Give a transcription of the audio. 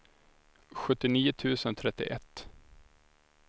sjuttionio tusen trettioett